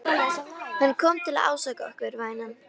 Hann kom til að ásaka okkur, vænan.